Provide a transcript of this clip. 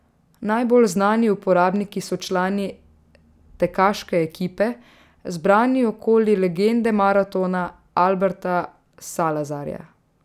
Najbolj znani uporabniki so člani tekaške ekipe, zbrani okoli legende maratona Alberta Salazarja.